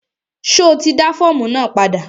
Ṣo ti dá fọ́ọ̀mù náà padà?